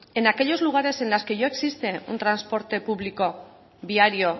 en aquellos lugares en los que ya existe un transporte público diario